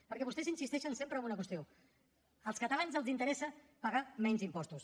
perquè vostès insisteixen sempre en una qüestió als catalans els interessa pagar menys impostos